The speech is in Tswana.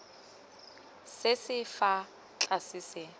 se se fa tlase se